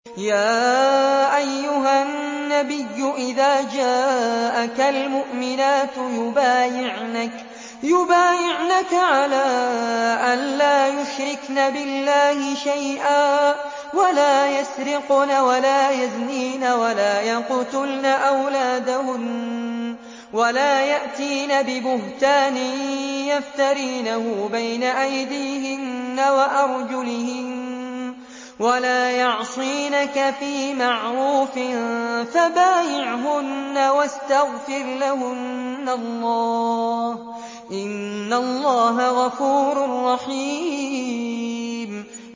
يَا أَيُّهَا النَّبِيُّ إِذَا جَاءَكَ الْمُؤْمِنَاتُ يُبَايِعْنَكَ عَلَىٰ أَن لَّا يُشْرِكْنَ بِاللَّهِ شَيْئًا وَلَا يَسْرِقْنَ وَلَا يَزْنِينَ وَلَا يَقْتُلْنَ أَوْلَادَهُنَّ وَلَا يَأْتِينَ بِبُهْتَانٍ يَفْتَرِينَهُ بَيْنَ أَيْدِيهِنَّ وَأَرْجُلِهِنَّ وَلَا يَعْصِينَكَ فِي مَعْرُوفٍ ۙ فَبَايِعْهُنَّ وَاسْتَغْفِرْ لَهُنَّ اللَّهَ ۖ إِنَّ اللَّهَ غَفُورٌ رَّحِيمٌ